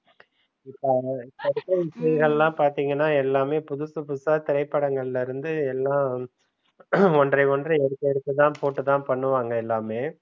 இப்ப first time எல்லாம் பாத்திங்கனா எல்லாமே புதுசு புதுசா திரைப்படங்கள்ல இருந்து எல்லாம் ஒன்றை ஒன்று எடுத்து எடுத்து தான் போட்டுதான் பண்ணுவாங்க எல்லாமே